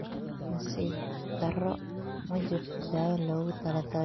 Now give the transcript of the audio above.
Nasiib darro, ma jirto daawo loogu talagalay glioblastomaha.